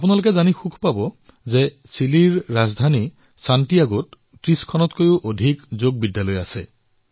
আপোনালোকে এয়া জানি ভাল পাব যে চিলিৰ ৰাজধানী ছেন্টিয়াগোত ৩০ত কৈও অধিক যোগ বিদ্যালয় আছে